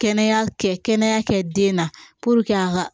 Kɛnɛya kɛ kɛnɛya kɛ den na a ka